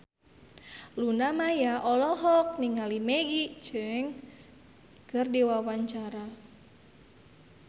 Luna Maya olohok ningali Maggie Cheung keur diwawancara